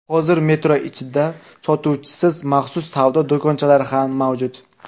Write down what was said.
Hozir metro ichida sotuvchisiz maxsus savdo do‘konchalari ham mavjud.